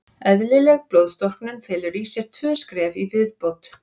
Eðlileg blóðstorknun felur í sér tvö skref í viðbót.